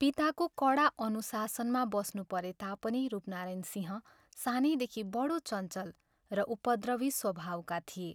पिताको कडा अनुशासनमा बस्नु परे तापनि रूपनारायण सिंह सानैदेखि बढो चञ्चल र उपद्रवी स्वभावका थिए।